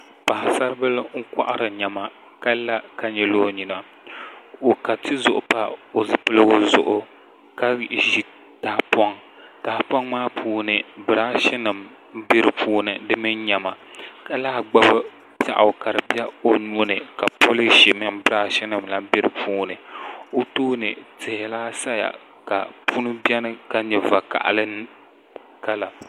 Paɣasaribili n kohari niɛma ka la ka nyili o nyina o ka tizuɣu pa o zipiligu zuɣu ka ʒi tahapoŋ tahapoŋ maa puuni birash nim n biɛni di mini niɛma ka lahi gbubi piɛɣu o nuuni ka polish nim mini birah nim bɛ di puuni o tooni tihi lahi biɛni ka puni biɛni ka nyɛ vakaɣali kala